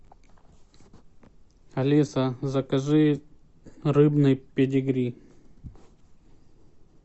алиса закажи рыбный педигри